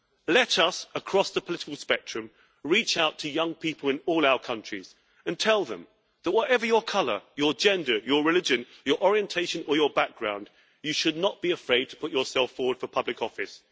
Let us, across the political spectrum, reach out to young people in all our countries and tell them that whatever your colour, your gender, your religion, your orientation or your background, you should not be afraid to put yourself forward for public office.